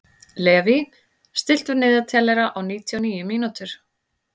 Levý, stilltu niðurteljara á níutíu og níu mínútur.